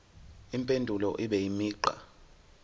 impendulo ibe imigqa